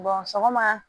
sɔgɔma